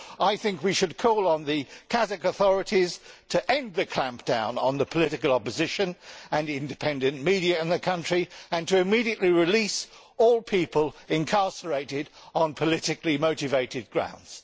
So I think we should call on the Kazakh authorities to end the clampdown on the political opposition and independent media in the country and to immediately release all people incarcerated on politically motivated grounds.